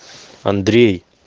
андрей